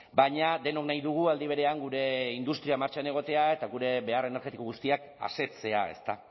baina denok nahi dugu aldi berean gure industria martxan egotea eta gure behar energetiko guztiak asetzea ezta